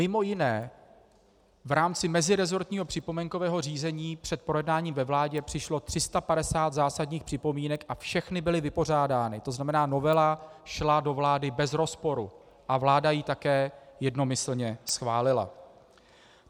Mimo jiné v rámci meziresortního připomínkového řízení před projednáváním ve vládě přišlo 350 zásadních připomínek a všechny byly vypořádány, to znamená novela šla do vlády bez rozporu a vláda ji také jednomyslně schválila.